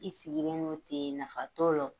I sigilen no ten nafa t'o lɔ.